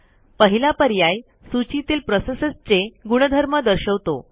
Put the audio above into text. पहिला पर्याय सूचीतील प्रोसेसेसचे गुणधर्म दर्शवतो